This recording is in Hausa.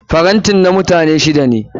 Tray na mutane shida ne.